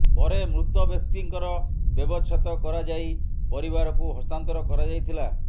ପରେ ମୃତ ବ୍ୟକ୍ତିଙ୍କର ବ୍ୟବଚ୍ଛେଦ କରାଯାଇ ପରିବାରକୁ ହସ୍ତାନ୍ତର କରାଯାଇଥିଲା